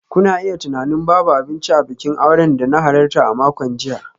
Kuna iya tunanin babu abinci a bikin auren da na halarta a makon jiya.